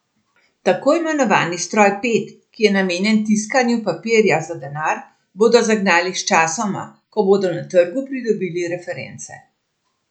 Tako imenovani stroj pet, ki je namenjen tiskanju papirja za denar, bodo zagnali sčasoma, ko bodo na trgu pridobili reference.